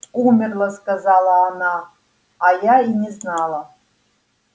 умерла сказала она а я и не знала